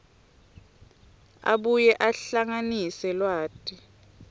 abuye ahlanganise lwati